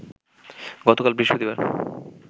গতকাল বৃহস্পতিবার